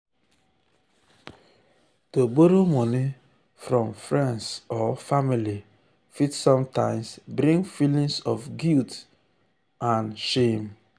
to borrow moni from friends or family fit sometimes bring feelings of guilt feelings of guilt and shame.